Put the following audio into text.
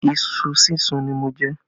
Ìṣù súnsun ni mo jẹ